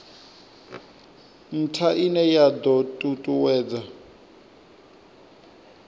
ntha ine ya do tutuwedza